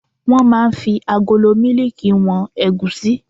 Wọ́n máa ń fi agolo mílíìkì wọn ẹ̀gúsí